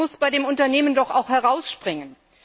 Das muss bei dem Unternehmen doch auch herausspringen!